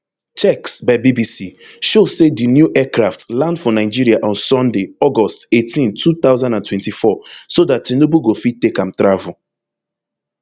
checks by bbc show say di new aircraft land for nigeria on sunday august eighteen two thousand and twenty-four so dat tinubu go fit take am travel